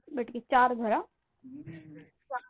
बर ठीक आहे चार धर आ.